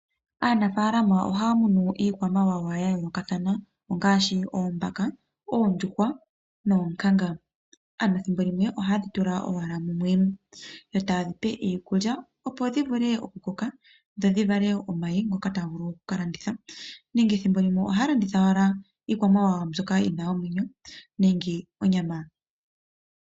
Aanafalama ohaa munu iikwamawawa ya yoolokathana ngaashi oombaka, oondjuhwa noonkanga, ano ethimbo limwe ohaye dhitula owala mumwe yo taye dhipe iikulya opo dhivule oku koka dho dhivale omayi ngoka haga vulu oku landithwa nenge ethimbo limwe taya landitha onyama.